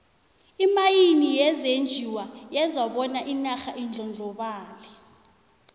imayini yezenjiwa yenza bona inarha indlondlobale